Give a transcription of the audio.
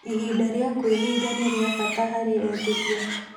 Ihinda rĩa kwĩhinga nĩ rĩa bata harĩ eetĩkia